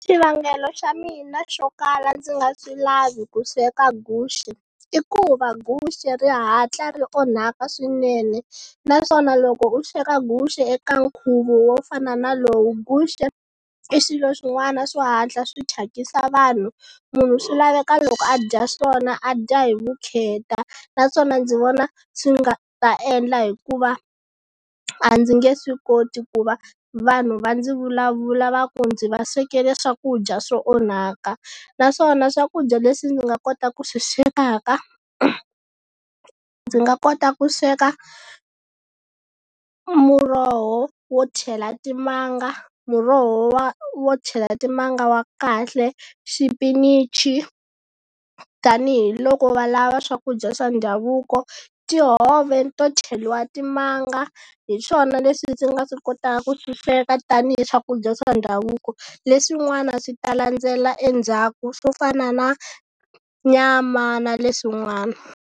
Xivangelo xa mina xo kala ndzi nga swi lavi ku sweka guxe, i ku va guxe ri hatla ri onhaka swinene. Naswona loko u swekwa guxe eka nkhuvo wo fana na lowu, guxe i swilo swin'wana swo hatla swi thyakisa vanhu. Munhu swi laveka loko a dya swona a dya hi vukheta naswona ndzi vona swi nga ta endla hikuva a ndzi nge swi koti ku va vanhu va ndzi vulavula va ku ndzi va swekela swakudya swo onhaka. Naswona swakudya leswi ndzi nga kotaka ku swi swekaka, ndzi nga kota ku sweka muroho wo chela timanga, muroho wa wo chela timanga wa kahle, xipinichi tanihiloko va lava swakudya swa ndhavuko. Tihove to cheliwa timanga hi swona leswi ndzi nga swi kotaka ku swi sweka tanihi swakudya swa ndhavuko, leswin'wana swi ta landzela endzhaku swo fana na nyama na leswin'wana.